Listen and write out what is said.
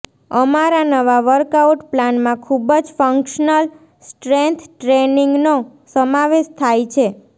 અમારા નવા વર્કઆઉટ પ્લાનમાં ખૂબ જ ફંક્શનલ સ્ટ્રેન્થ ટ્રેનિંગનો સમાવેશ થાય છે